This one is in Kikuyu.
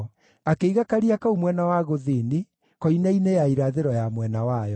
Akĩiga Karia kau mwena wa gũthini, koine-inĩ ya irathĩro ya mwena wayo.